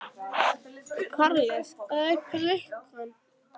Karles, hvað er klukkan?